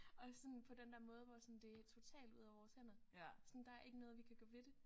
Og sådan på den der måde hvor sådan det er totalt ude af vores hænder sådan der er ikke noget vi kan gøre ved det